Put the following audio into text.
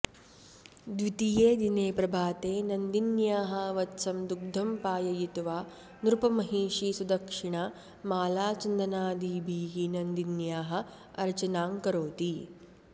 द्वितीये दिने प्रभाते नन्दिन्याः वत्सं दुग्धं पाययित्वा नृपमहिषी सुदक्षिणा मालाचन्दनादिभिः नन्दिन्याः अर्चनां करोति